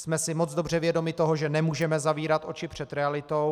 Jsme si moc dobře vědomi toho, že nemůžeme zavírat oči před realitou.